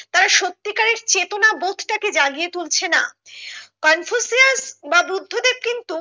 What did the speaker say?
তারা সত্যি করে চেতনা বোধটাকে জাগিয়ে তুলছেনা কনফুসিয়াস বা বুদ্ধদেব কিন্তু